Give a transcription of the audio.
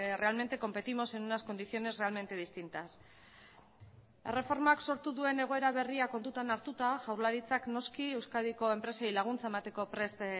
realmente competimos en unas condiciones realmente distintas erreformak sortu duen egoera berria kontutan hartuta jaurlaritzak noski euskadiko enpresei laguntza emateko prest